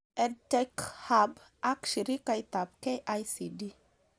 EdTech Hub ak shirikaitab KICD